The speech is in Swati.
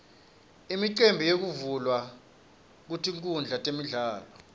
imicimbi yekuvulwa kwetinkhundla temidlalo